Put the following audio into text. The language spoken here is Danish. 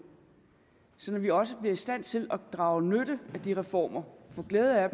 sådan at vi også bliver i stand til at drage nytte af de reformer få glæde af